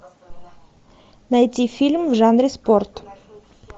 найти фильм в жанре спорт